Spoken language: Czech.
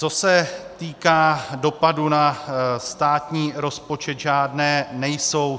Co se týká dopadů na státní rozpočet, žádné nejsou.